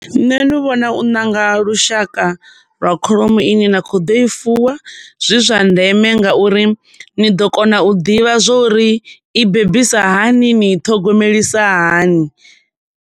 Nṋe ndi vhona u ṋanga lushaka lwa kholomo ine na kho ḓo i fuwa zwi zwa ndeme nga uri ni ḓo kona u ḓivha zwo uri i bebisa hani, ni i ṱhogomelisa hani.